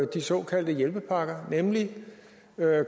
de såkaldte hjælpepakker nemlig